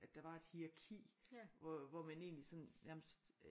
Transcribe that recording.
At der var et hieraki hvor hvor man egentlig sådan nærmest